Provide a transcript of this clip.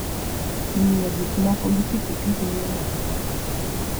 Ng'iyo gik moko gi piki piki miyo ng'ato paro matut.